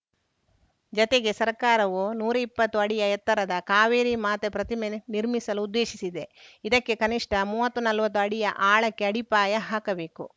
ಜತೆಗೆ ಸರ್ಕಾರವು ನೂರಾ ಇಪ್ಪತ್ತು ಅಡಿಯ ಎತ್ತರದ ಕಾವೇರಿ ಮಾತೆ ಪ್ರತಿಮೆ ನಿರ್ಮಿಸಲು ಉದ್ದೇಶಿಸಿದೆ ಇದಕ್ಕೆ ಕನಿಷ್ಠ ಮುವತ್ತು ನಲ್ವತ್ತು ಅಡಿಯ ಆಳಕ್ಕೆ ಅಡಿಪಾಯ ಹಾಕಬೇಕು